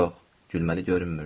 Yox, gülməli görünmürdüm.